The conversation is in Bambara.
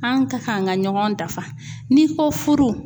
An ka kan ka ɲɔgɔn dafa n'i ko furu